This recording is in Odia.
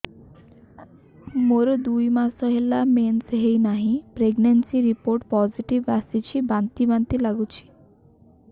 ମୋର ଦୁଇ ମାସ ହେଲା ମେନ୍ସେସ ହୋଇନାହିଁ ପ୍ରେଗନେନସି ରିପୋର୍ଟ ପୋସିଟିଭ ଆସିଛି ବାନ୍ତି ବାନ୍ତି ଲଗୁଛି